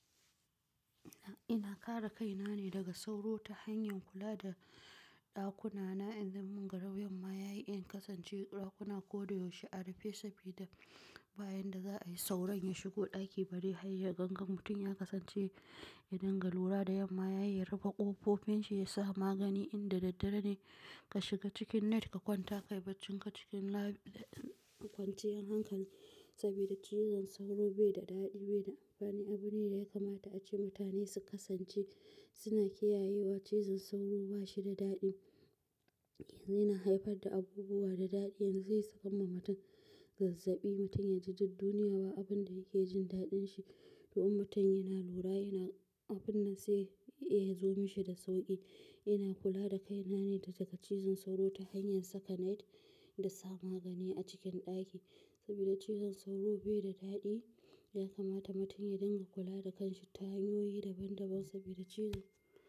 Ina kare kaina ne daga sauro ta hanyar kula da ɗakuna, inda munga yamma yayi in kasance ɗakuna ko da yaushe a rufe sabida ba yanda za a yi sauron ya shigo ɗaki bari hai yagangan mutum ya kasance yadinga lura da yamma yayi rufe ƙofofin shi ya sa magani inda daddare ne ka shiga cikin net ka kwanta ka yi bacci ka cikin kwanciyar hankali sabida cizon sauro bai da daɗi bai da amfani. Abu ne da ya kamata a ce mutane su kasance suna kiyayewa cizon sauro ba shi da daɗi. Yanzu yana haifar da abubuwa da daɗi yanzu zai sakanma mutum gazzabi mutum ya ji duk duniya ba abin da yake jin daɗin shi. To in mutum yana lura abun nan zai iya zo mishi da sauƙi. Ina kula da kaina ne daga cizon sauro ta hanyar saka net da sa magani a cikin ɗaki sabida cizon sauro bai da daɗi ya kamata mutum ya dinga kula da ƙanshi ta hanyoyi daban daban sabida cizon.